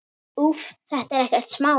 Úff, þetta er ekkert smá.